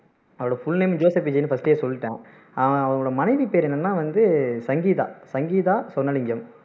அவரோட full name வந்து Joseph விஜய்னு first ஏ சொல்லிட்டேன் ஆஹ் அவரொட மனைவி பேரு வந்து என்னன்னா வந்து சங்கீதா சங்கீதா சொர்ணலிங்கம்